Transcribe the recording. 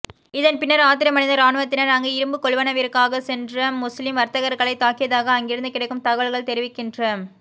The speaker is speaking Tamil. இதன் பின்னர் ஆத்திரமடைந்த இராணுவத்தினர் அங்கு இரும்பு கொள்வனவிற்காகச் சென்ற முஸ்லிம் வர்த்தகர்களைத் தாக்கியதாக அங்கிருந்து கிடைக்கும் தகவல்கள் தெரிவிக்கின்ற